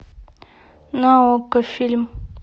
на окко фильм